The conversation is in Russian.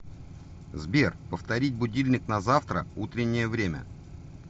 сбер повторить будильник на завтра утреннее время